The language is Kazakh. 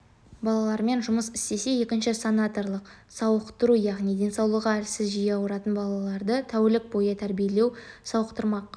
балалармен жұмыс істесе екіншісі санаторлық-сауықтыру яғни денсаулығы әлсіз жиі ауыратын балаларды тәулік бойы тәрбиелеп сауықтырмақ